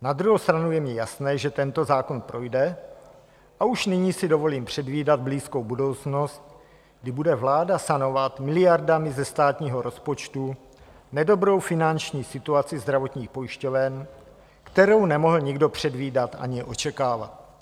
Na druhou stranu je mně jasné, že tento zákon projde, a už nyní si dovolím předvídat blízkou budoucnost, kdy bude vláda sanovat miliardami ze státního rozpočtu nedobrou finanční situaci zdravotních pojišťoven, kterou nemohl nikdo předvídat ani očekávat.